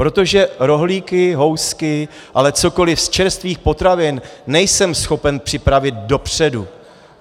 Protože rohlíky, housky, ale cokoliv z čerstvých potravin nejsem schopen připravit dopředu.